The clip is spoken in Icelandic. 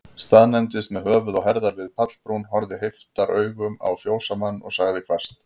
Staðnæmdist með höfuð og herðar við pallbrún, horfði heiftaraugum á fjósamann, og sagði hvasst